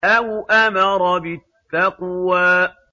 أَوْ أَمَرَ بِالتَّقْوَىٰ